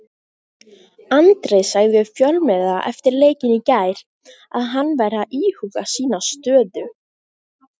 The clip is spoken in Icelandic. Andri sagði við fjölmiðla eftir leikinn í gær að hann væri að íhuga sína stöðu.